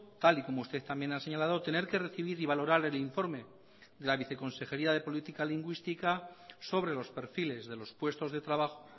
tal y como usted también ha señalado tener que recibir y valorar el informe de la viceconsejería de política lingüística sobre los perfiles de los puestos de trabajo